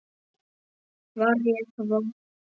Var ég vön því?